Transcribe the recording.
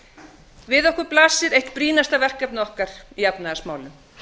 staða við okkur blasir eitt brýnasta verkefnið okkar í efnahagsmálum